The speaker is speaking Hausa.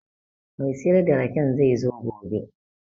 Mai siyar da raken zai zo gobe